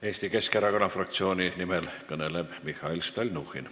Eesti Keskerakonna fraktsiooni nimel kõneleb Mihhail Stalnuhhin.